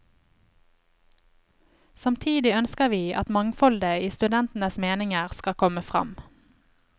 Samtidig ønsker vi at mangfoldet i studentenes meninger skal komme frem.